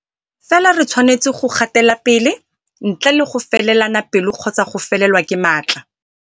Fela re tshwanetse go gatelapele, ntle le go felelana pelo kgotsa go felelwa ke matla.